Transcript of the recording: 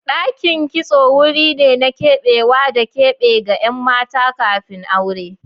Dakin kitso wuri ne na keɓewa da keɓe ga ƴan mata kafin aure.